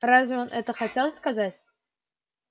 разве он это хотел сказать